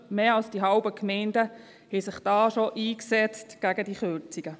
Mehr als die Hälfte der Gemeinden hat sich da schon gegen diese Kürzungen eingesetzt.